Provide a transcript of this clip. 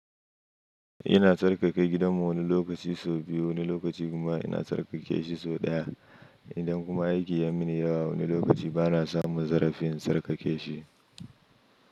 Ina tsarkake gidanmu wani lokaci sau biyu, wani lokaci kuma ina tsarkake shi sau ɗaya. Indan kuma aiki ya mini yawa wani lokaci bana samun zarafin tsarkake shi.